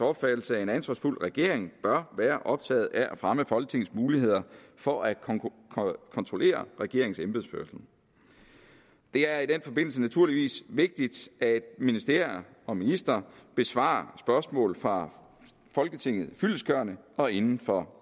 opfattelse at en ansvarsfuld regering bør være optaget af at fremme folketingets muligheder for at kontrollere regeringens embedsførelse det er i den forbindelse naturligvis vigtigt at ministerier og ministre besvarer spørgsmål fra folketinget fyldestgørende og inden for